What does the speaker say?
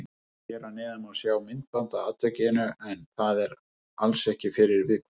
Hér að neðan má sjá myndband af atvikinu en það er alls ekki fyrir viðkvæma.